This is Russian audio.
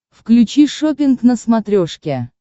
включи шоппинг на смотрешке